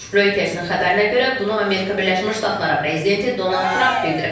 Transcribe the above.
Röytəsin xəbərinə görə bunu Amerika Birləşmiş Ştatları prezidenti Donald Tramp bildirib.